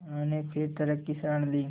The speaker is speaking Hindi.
उन्होंने फिर तर्क की शरण ली